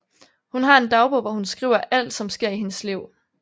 Hun har en dagbog hvor hun skriver alt som sker i hendes liv